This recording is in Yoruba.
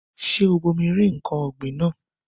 Ṣé o bomi rin ǹkan ọ̀gbìn náà?